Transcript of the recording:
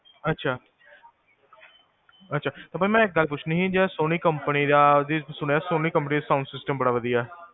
ਅਛਾ, ਅਛਾ, ਤੇ ਫੇਰ ਮੈਂ ਇਕ ਗਲ ਪੁਚ੍ਨੀ ਸੀ, ਸੋਨੀ ਕੰਪਨੀ ਦਾ, ਸੁਣਿਆ ਸੋਨੀ ਕੰਪਨੀ ਦਾ sound sysytem ਬੜਾ ਵਦੀਆਂ